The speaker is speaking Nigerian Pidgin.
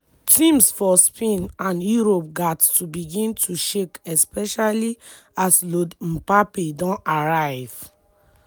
teams for spain and europe gatz to begin to shake especially as lord mbappe don arrive.